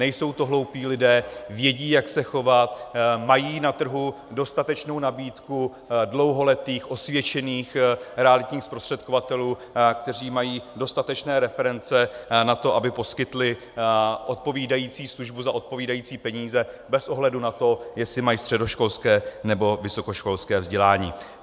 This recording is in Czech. Nejsou to hloupí lidé, vědí, jak se chovat, mají na trhu dostatečnou nabídku dlouholetých osvědčených realitních zprostředkovatelů, kteří mají dostatečné reference na to, aby poskytli odpovídající službu za odpovídající peníze bez ohledu na to, jestli mají středoškolské nebo vysokoškolské vzdělání.